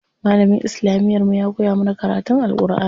Malamin islamiyar mu ya koya mana karatun Alʼƙurʼani.